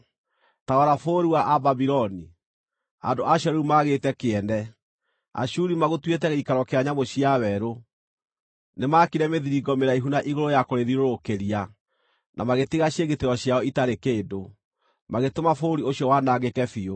Ta rora bũrũri wa Ababuloni, andũ acio rĩu maagĩĩte kĩene! Ashuri magũtuĩte gĩikaro kĩa nyamũ cia werũ; nĩmaakire mĩthiringo mĩraihu na igũrũ ya kũrĩthiũrũrũkĩria, na magĩtiga ciĩgitĩro ciao itarĩ kĩndũ, magĩtũma bũrũri ũcio wanangĩke biũ.